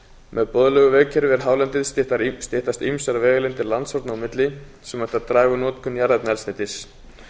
með boðlegu vegakerfi yfir hálendið styttast ýmsar vegalengdir landshorna á milli sem ætti að draga úr notkun jarðefnaeldsneytis